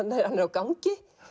gangi